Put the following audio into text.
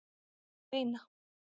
Sveina